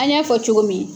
An y'a fɔ cogo min